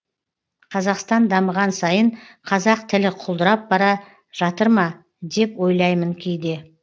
қазақстан дамыған сайын қазақ тілі құлдырап бара жатыр ма деп ойлаймын кейде